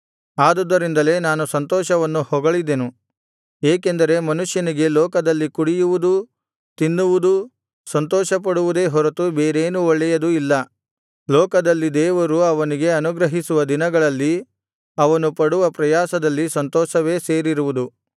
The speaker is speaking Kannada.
ಆದುದರಿಂದಲೇ ನಾನು ಸಂತೋಷವನ್ನು ಹೊಗಳಿದೆನು ಏಕೆಂದರೆ ಮನುಷ್ಯನಿಗೆ ಲೋಕದಲ್ಲಿ ಕುಡಿಯುವುದೂ ತಿನ್ನುವುದೂ ಸಂತೋಷಪಡುವುದೇ ಹೊರತು ಬೇರೇನೂ ಒಳ್ಳೆಯದು ಇಲ್ಲ ಲೋಕದಲ್ಲಿ ದೇವರು ಅವನಿಗೆ ಅನುಗ್ರಹಿಸುವ ದಿನಗಳಲ್ಲಿ ಅವನು ಪಡುವ ಪ್ರಯಾಸದಲ್ಲಿ ಸಂತೋಷವೇ ಸೇರಿರುವುದು